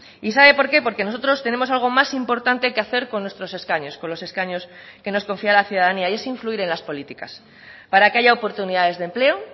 y sabe por qué porque nosotros tenemos algo más importante que hacer con nuestros escaños con los escaños que nos confía la ciudadanía y es influir en las políticas para que haya oportunidades de empleo